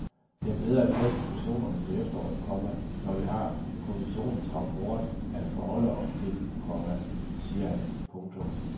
Det er bedre at tage diskussionen til efteråret, komma når vi har kommissionens rapport at forholde os til, komma siger han. punktum